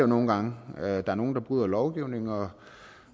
nogle gange der er nogle der bryder lovgivningen og